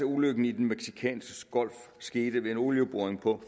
ulykken i den mexicanske golf skete ved en olieboring på